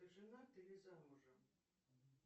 ты женат или замужем